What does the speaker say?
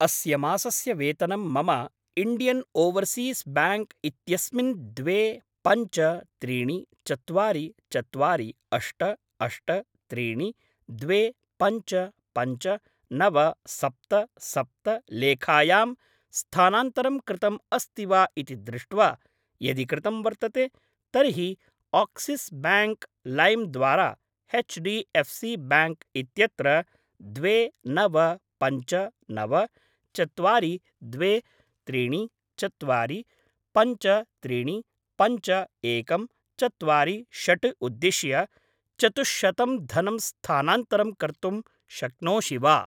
अस्य मासस्य वेतनं मम इण्डियन् ओवर्सीस् ब्याङ्क् इत्यस्मिन् द्वे पञ्च त्रीणि चत्वारि चत्वारि अष्ट अष्ट त्रीणि द्वे पञ्च पञ्च नव सप्त सप्त लेखायां स्थानान्तरं कृतम् अस्ति वा इति दृष्ट्वा, यदि कृतं वर्तते तर्हि आक्सिस् ब्याङ्क् लैम् द्वारा H D F C bank इत्यत्र द्वे नव पञ्च नव चत्वारि द्वे त्रीणि चत्वारि पञ्च त्रीणि पञ्च एकं चत्वारि षड् उद्दिश्य चतुश्शतं धनं स्थानान्तरं कर्तुं शक्नोषि वा?